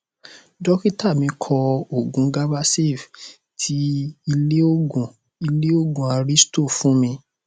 dọkítà mí kọ òògun gabasafe ti ilé òògùn ilé òògùn aristo fún mi